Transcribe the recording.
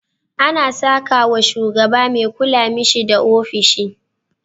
Ana sakawa sugaba me kula mishi da ofishi